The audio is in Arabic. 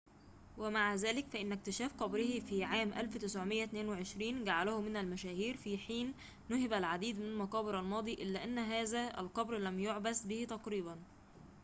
ومع ذلك فإن اكتشاف قبره في عام 1922 جعله من المشاهير في حين نُهب العديد من مقابر الماضي إلا أن هذا القبر لم يُعبث به تقريباً